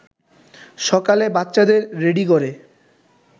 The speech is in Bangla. সকালে বাচ্চাদের রেডি করে